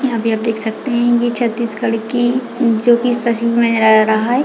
यहाँ पे आप देख सकते है ये छत्तीसगढ़ की जो की इस तस्वीर में नज़र आ रहा हैं।